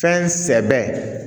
Fɛn sɛbɛ